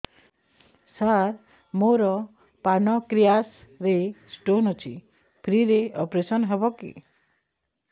ସାର ମୋର ପାନକ୍ରିଆସ ରେ ସ୍ଟୋନ ଅଛି ଫ୍ରି ରେ ଅପେରସନ ହେବ କି